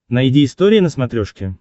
найди история на смотрешке